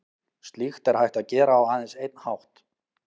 Slíkt er hægt að gera á aðeins einn hátt.